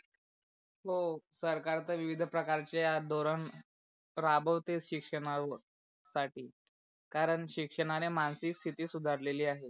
हो सरकार तर विविध प्रकारचे या धोरण राबवते शिक्षणा वर साठी कारण शिक्षणाणे मानसिक स्थिति सुधारलेली आहे.